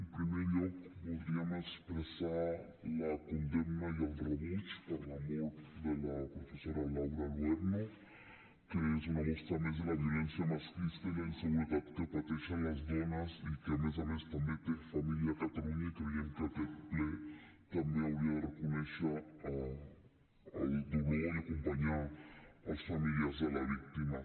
en primer lloc voldríem expressar la condemna i el rebuig per la mort de la professora laura luerno que és una mostra més de la violència masclista i la inseguretat que pateixen les dones i que a més a més també té família a catalunya i creiem que aquest ple també hauria de reconèixer el dolor i acompanyar els familiars de la víctima